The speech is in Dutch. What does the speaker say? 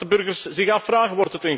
Dat is wat de burgers zich afvragen.